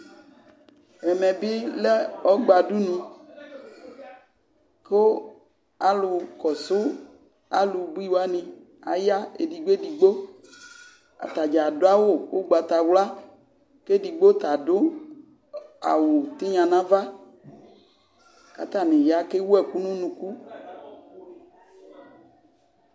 EƐmɛ bi lɛ ɔgbadʋni, kʋ alʋnkɔsʋ alʋbui wani aya edigbo edigbo, atadzaa adʋ awʋ ʋgbatawla, k'edigbo t'adʋ awʋ tigna n'ava, k'atani ya k'ewu ɛkʋ n'unuku